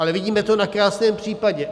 Ale vidíme to na krásném případě.